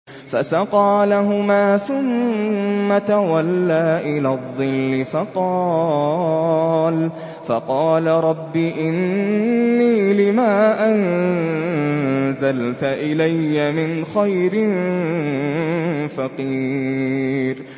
فَسَقَىٰ لَهُمَا ثُمَّ تَوَلَّىٰ إِلَى الظِّلِّ فَقَالَ رَبِّ إِنِّي لِمَا أَنزَلْتَ إِلَيَّ مِنْ خَيْرٍ فَقِيرٌ